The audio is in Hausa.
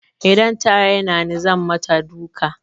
Idan ta raina ni zan mata duka.